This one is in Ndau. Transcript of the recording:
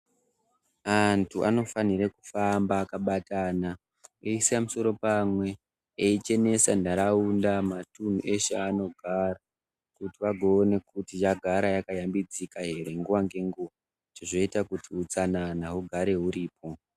Antu anofanira kufamba akabatana eisa musoro pamwe eichenesa ntaraunda matunhu eshe evanogara kuti vagoone kuti yagara yakashambidzika ere nguwa ngenguwa zvozoita kuti utsanana ugare huripo.